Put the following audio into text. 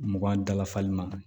Mugan dala fali ma